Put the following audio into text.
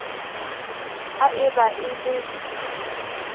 ha e ba e le